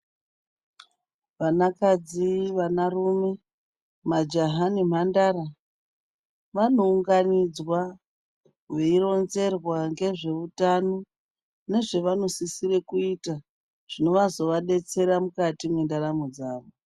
Vanakadzi, vanarume majaha nemhandara vanounganidzwa veironzerwa ngezveutano nezvevanosisire kuita, zvinozovadetsera mukati mendaramo dzavo.